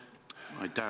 Palun!